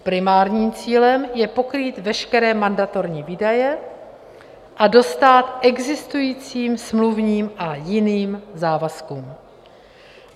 Primárním cílem je pokrýt veškeré mandatorní výdaje a dostát existujícím smluvním a jiným závazkům.